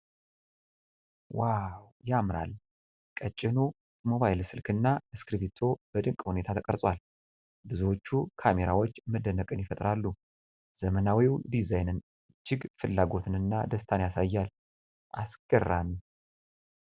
ዋው ያምራል! ቀጭኑ የሞባይል ስልክና እስክርቢቶ በድንቅ ሁኔታ ተቀርጿል። ብዙዎቹ ካሜራዎች መደነቅን ይፈጥራሉ። ዘመናዊው ዲዛይን እጅግ ፍላጎትንና ደስታን ያሳያል። አስገራሚ!